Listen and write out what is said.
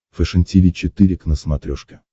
фэшен тиви четыре к на смотрешке